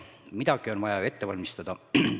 Midagi on vaja ju ette valmistada.